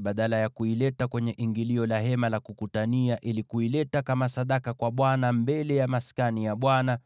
badala ya kuileta kwenye ingilio la Hema la Kukutania ili kuileta kama sadaka kwa Bwana mbele ya Maskani ya Bwana ,